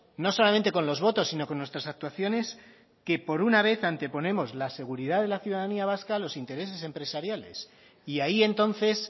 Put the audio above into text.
no solamente con los votos sino con nuestras actuaciones que por una vez anteponemos la seguridad de la ciudadanía vasca a los intereses empresariales y ahí entonces